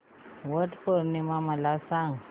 वट पौर्णिमा मला सांग